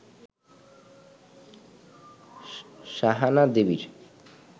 সাহানা দেবীর